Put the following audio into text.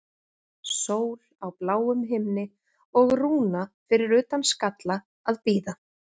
Sól á bláum himni og Rúna fyrir utan Skalla að bíða.